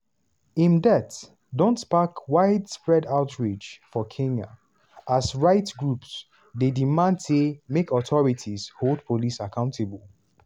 im death don spark widespread outrage for kenya as rights groups dey demand say make authorities hold police accountable.